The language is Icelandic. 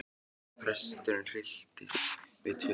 sagði presturinn og hryllti sig við tilhugsunina.